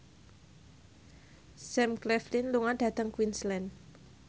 Sam Claflin lunga dhateng Queensland